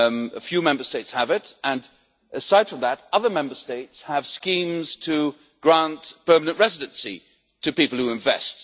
A few Member States have it and, aside from that, other Member States have schemes to grant permanent residency to people who invest.